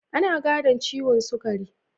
Ana gadon ciwon sugari.